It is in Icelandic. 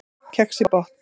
Kex í botn